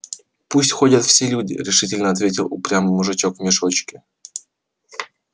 пусть ходят все люди решительно ответил упрямый мужичок в мешочке